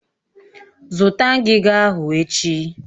Zụta ngiga ahụ echi!